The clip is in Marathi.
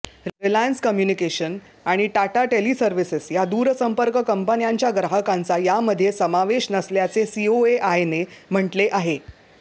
रिलायन्स कम्युनिकेशन आणि टाटा टेलिसव्र्हिस या दूरसंपर्क कंपन्यांच्या ग्राहकांचा यामध्ये समावेश नसल्याचे सीओएआयने म्हटले आहे